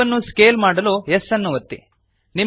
ಕ್ಯೂಬ್ಅನ್ನು scale ಮಾಡಲು S ಅನ್ನು ಒತ್ತಿರಿ